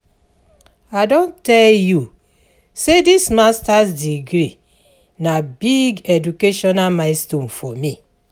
I don tell you sey dis masters degree na big educational milestone for me.